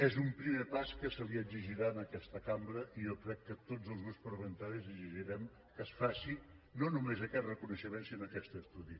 és un primer pas que se li exigirà a aquesta cambra i jo crec que tots els grups parlamentaris exigirem que es faci no només aquest reconeixement sinó aquest estudi